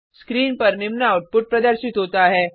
screen पर निम्न output प्रदर्शित होता है